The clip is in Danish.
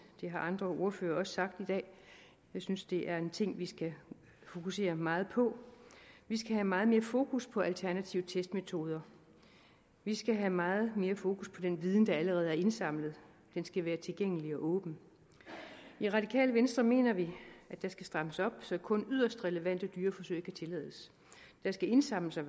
det har andre ordførere også sagt i dag jeg synes det er en ting vi skal fokusere meget på vi skal have meget mere fokus på alternative testmetoder vi skal have meget mere fokus på den viden der allerede er indsamlet den skal være tilgængelig og åben i radikale venstre mener vi at der skal strammes op så kun yderst relevante dyreforsøg kan tillades der skal indsamles og